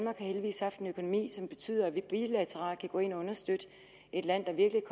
har heldigvis haft en økonomi som betyder vi bilateralt kan gå ind og understøtte et land der virkelig